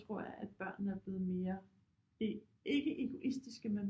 Tror jeg at børnene er blevet mere ikke egoistiske men